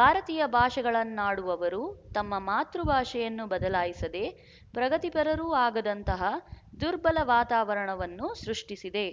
ಭಾರತೀಯ ಭಾಷೆಗಳನ್ನಾಡುವವರು ತಮ್ಮ ಮಾತೃಭಾಷೆಯನ್ನು ಬದಲಾಯಿಸದೆ ಪ್ರಗತಿಪರರು ಆಗದಂತಹ ದುರ್ಬಲ ವಾತಾವರಣವನ್ನು ಸೃಷ್ಟಿಸಿದೆ